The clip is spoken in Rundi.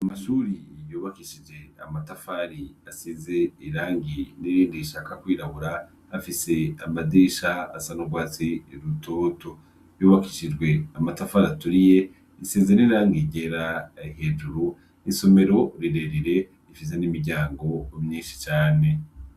Mamashuri yobakishije amatafari asize irangi n'iringi ishaka kwirabura hafise amadisha asanurwatsi rutoto yobakishijwe amatafari aturiye insezene ranga igera hejuru isomero rirerere ifiza n'imiryango umyinshi cane.